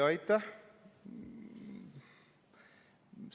Aitäh!